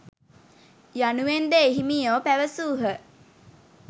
යනුවෙන්ද එහිමියෝ පැවසූහ.